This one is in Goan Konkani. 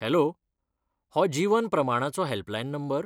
हॅलो! हो जीवन प्रमाणाचो हॅल्पलायन नंबर?